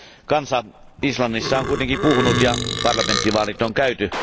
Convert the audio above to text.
Kansa Islannissa on kuitenkin puhunut, ja parlamenttivaalit on käyty.